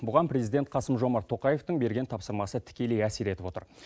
бұған президент қасым жомарт тоқаевтың берген тапсырмасы тікелей әсер етіп отыр